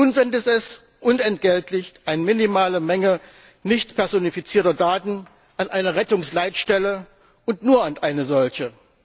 Nun sendet es unentgeltlich eine minimale Menge nicht personifizierter Daten an eine Rettungsleitstelle und nur an eine solche!